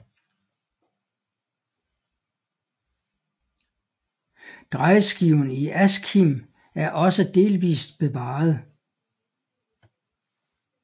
Drejeskiven i Askim er også delvist bevaret